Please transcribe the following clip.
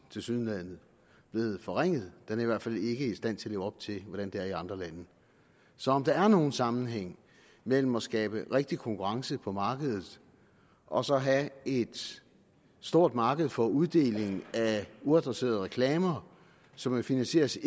tilsyneladende blevet forringet den er i hvert fald ikke i stand til at leve op til hvordan det er i andre lande så om der er nogen sammenhæng mellem at skabe rigtig konkurrence på markedet og så at have et stort marked for uddelingen af uadresserede reklamer som finansieres